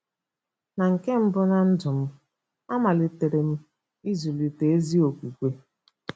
Na nke mbụ ná ndụ m, amalitere m ịzụlite ezi okwukwe..